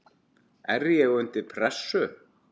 er ég undir pressu?